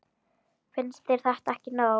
Finnst þér þetta ekki nóg?